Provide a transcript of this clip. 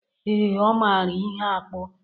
Ee, ọ mara ihe akpụ